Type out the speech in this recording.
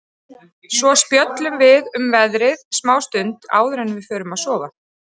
Svo spjöllum við um veðrið smá stund áður en við förum að sofa.